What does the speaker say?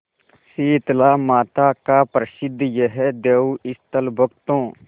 शीतलामाता का प्रसिद्ध यह देवस्थल भक्तों